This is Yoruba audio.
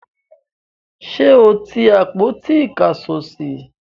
ṣé o ti àpótí ìkásọsí?